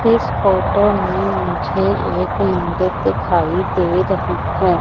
इस फोटो में मुझे एक मंदिर दिखाई दे रही है।